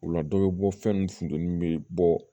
O la dɔ bɛ bɔ fɛn min funtɛni bɛ bɔ